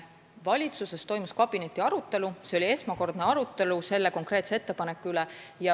Valitsuses toimus kabinetiarutelu, see oli esmakordne arutelu selle konkreetse ettepaneku üle.